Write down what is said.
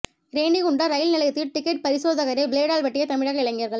Renigunta rail நிலையத்தில் ticket பரிசோதகரை பிளேடால் வெட்டிய தமிழக இளைஞர்கள்